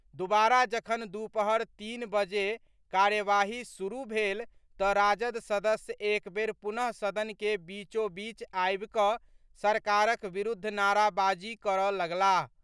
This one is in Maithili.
दुबारा जखन दुपहर तीन बजे कार्यवाही शुरू भेल तऽ राजद सदस्य एक बेर पुनः सदन के बीचोबीच आबि कऽ सरकारक विरूद्ध नाराबाजी करऽ लगलाह।